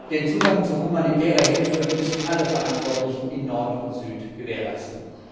Den Zugang zu humanitärer Hilfe müssen alle Verantwortlichen in Nord und Süd gewährleisten.